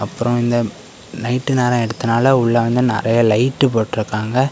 அப்புறொ இந்த நைட்டு நேரஎடுத்ததுனால உள்ள வந்து நெறைய லைட் போட்டு இருக்காங்க.